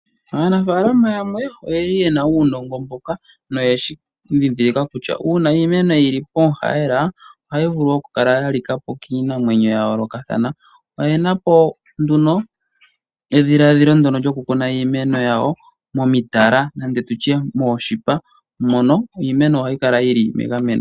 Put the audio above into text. Aanafalama yamwe oyeli yena uunongo mbuka no yeshi dhidhilaka kutya uuna iimeno yili pomu hayela ohayi vulu yalikapi kiinamwenyo yayoloka kathana , oyena po nduno edhiladhilo ndono lyo kukuna iimeno yawo momitala nenge tutye moshipa mono iimeno hayi kala yili megameno.